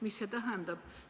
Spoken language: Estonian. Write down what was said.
Mida see tähendab?